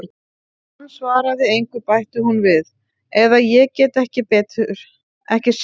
Þegar hann svaraði engu bætti hún við: eða ég get ekki séð betur.